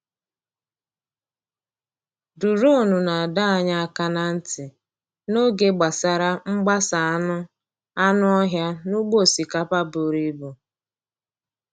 Duronu na-adọ anyị aka ná ntị n’oge gbasara mgbasa anụ anụ ọhịa n’ugbo osikapa buru ibu.